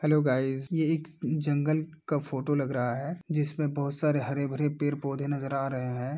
Hello guys ये एक जंगल का फोटो लग रहा हैँ जिसमे बहुत सारे हरे भरे पेड़ पौधे नज़र आ रहे हैँ।